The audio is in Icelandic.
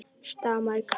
stamaði Kata.